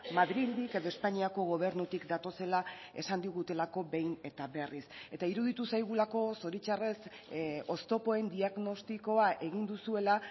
madrildik edo espainiako gobernutik datozela esan digutelako behin eta berriz eta iruditu zaigulako zoritzarrez oztopoen diagnostikoa egin duzuela